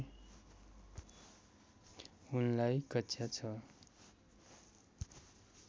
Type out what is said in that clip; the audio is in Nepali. उनलाई कक्षा ६